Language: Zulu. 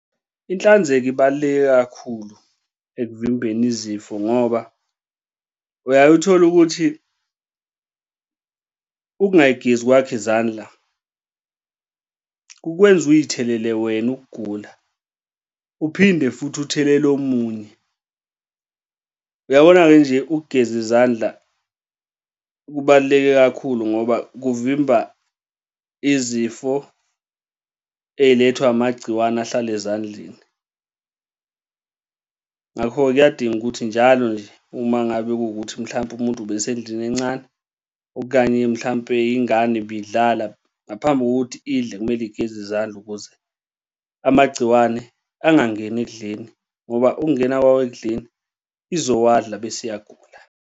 Inhlanzeko ibaluleke kakhulu ekuvimbeni izifo ngoba uyaye uthole ukuthi ukungay'geza kwakho izandla kukwenza uy'thelele wena ukugula uphinde futhi uthelele omunye. Uyabona-ke nje ukugeza izandla kubaluleke kakhulu ngoba kuvimba izifo ey'lethwa amagciwane ahlala ezandleni. Ngakho-ke kuyadinga ukuthi njalo nje uma ngabe kuwukuthi mhlampe umuntu ubesendlini encane, okanye mhlampe ingane ibidlala ngaphambi kokuthi idle kumele ugeze izandla ukuze amagciwane angangeni ekudleni ngoba ukungena kwawo ekudleni izowadla bese iyagula.